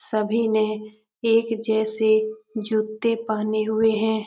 सभी ने एक जैसे जूते पहने हुए हैं।